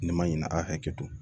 Nin ma ɲina a hakɛ to